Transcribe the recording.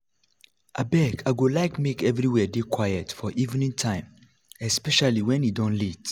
abeg i go like make everywhere dey quiet for evening time evening time especially wen e don late